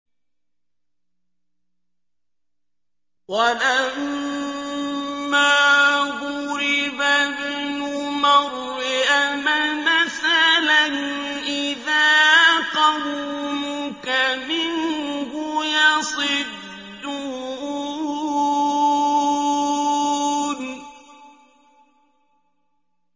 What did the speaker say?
۞ وَلَمَّا ضُرِبَ ابْنُ مَرْيَمَ مَثَلًا إِذَا قَوْمُكَ مِنْهُ يَصِدُّونَ